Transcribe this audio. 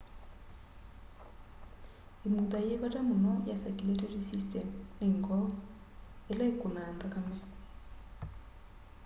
imutha yi vata muno ya circulatory system ni ngoo ila ikunaa nthakame